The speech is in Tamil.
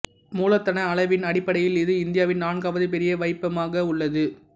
மூலதன அளவின் அடிப்படையில் இது இந்தியாவின் நான்காவது பெரிய வைப்பகமாக உள்ளது